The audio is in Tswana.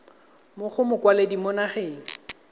mo go mokwaledi mo nageng